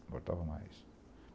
Importava mais.